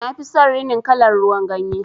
Nafi son rinin kalar ruwan ganye.